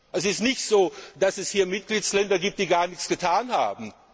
Es ist nicht so, dass es hier Mitgliedsländer gibt, die gar nichts getan haben.